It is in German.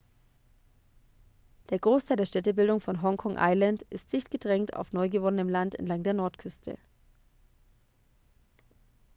der großteil der städtebildung von hong kong island ist dicht gedrängt auf neugewonnenem land entlang der nordküste